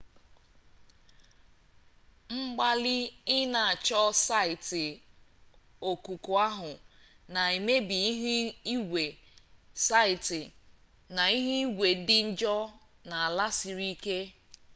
mgbalị ị na-achọ saịtị okuku ahụ na-emebi ihu igwe site na ihu igwe dị njọ na ala siri ike